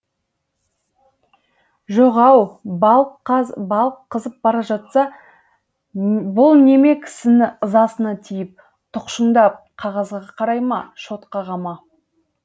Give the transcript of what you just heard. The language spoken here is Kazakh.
жоқ ау балық қызып бара жатса бұл неме кісінің ызасына тиіп тұқшыңдап қағазға қарай ма шот қаға ма